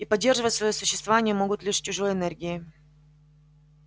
и поддерживать своё существование могут лишь чужой энергией